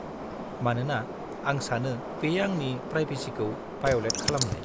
मानोना आं सानो बेयो आंनि प्रायबेसिखौ भाय'लेट खालामनाय।